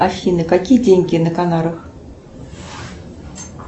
афина какие деньги на канарах